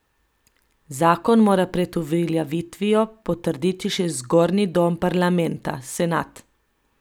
Zakon mora pred uveljavitvijo potrditi še zgornji dom parlamenta, senat.